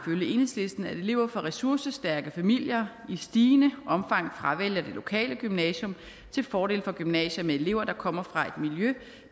enhedslisten at elever fra ressourcestærke familier i stigende omfang fravælger det lokale gymnasium til fordel for gymnasier med elever der kommer fra et miljø